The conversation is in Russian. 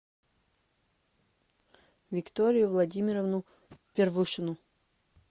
викторию владимировну первушину